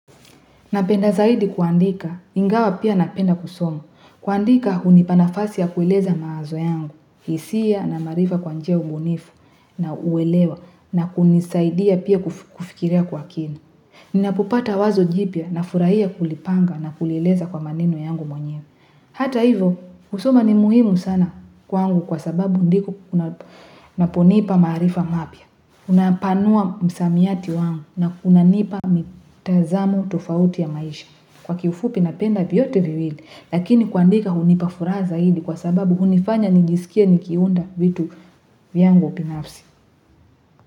Napenda zaidi kuandika, ingawa pia napenda kusomu. Kuandika hunipa nafasi ya kueleza mawazo yangu. Hisia na maarifa kwa njia ubunifu na uelewa na kunisaidia pia kufikiria kwa kina. Ninapopata wazo jipya nafurahia kulipanga na kulieleza kwa maneno yangu mwenyewe. Hata hivo, kusoma ni muhimu sana kwangu kwa sababu ndipo naponipa maarifa mapya. Unapanua msamiati wangu na unanipa mitazamo tofauti ya maisha. Kwa kifupi napenda vyote viwili. Lakini kuandika hunipa furaha zaidi kwa sababu hunifanya nijisikie nikiunda vitu vyangu upinafsi.